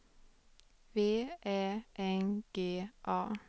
V Ä N G A